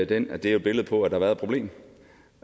den at det er et billede på at der har været et problem